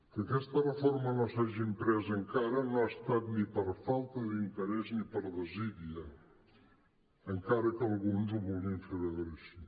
que aquesta reforma no s’hagi em·près encara no ha estat ni per falta d’interès ni per desídia encara que alguns ho vulguin fer veure així